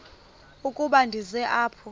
ukuba ndize apha